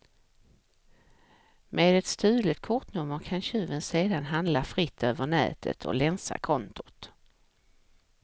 Med ett stulet kortnummer kan tjuven sedan handla fritt över nätet och länsa kontot.